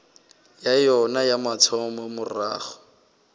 ya yona ya mathomo morago